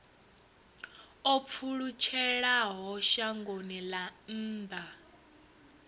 o pfulutshelaho shangoni ḽa nnḓa